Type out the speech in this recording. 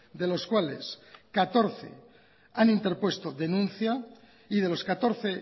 de los cuales